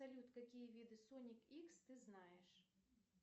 салют какие виды соник икс ты знаешь